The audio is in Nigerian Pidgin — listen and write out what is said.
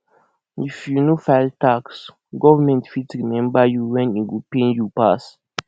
if you no file tax government fit remember you when e go pain you pass